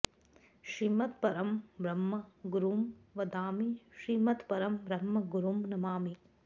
श्रीमत्परं ब्रह्म गुरुं वदामि श्रीमत्परं ब्रह्म गुरुं नमामि